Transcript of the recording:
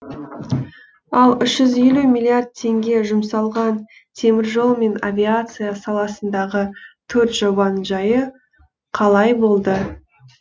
ал үш жүз елу миллиард теңге жұмсалған теміржол мен авиация саласындағы төрт жобаның жайы қалай болды